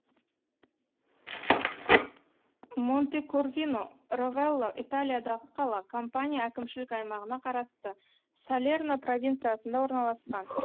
монтекорвино ровелла италиядағы қала кампания әкімшілік аймағына қарасты салерно провинциясында орналасқан